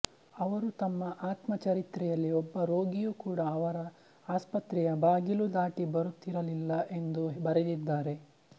ಅವರು ತಮ್ಮ ಆತ್ಮಚರಿತ್ರೆಯಲ್ಲಿ ಒಬ್ಬ ರೋಗಿಯೂ ಕೂಡ ಅವರ ಆಸ್ಪತ್ರೆಯ ಬಾಗಿಲು ದಾಟಿ ಬರುತ್ತಿರಲಿಲ್ಲ ಎಂದು ಬರೆದಿದ್ದಾರೆ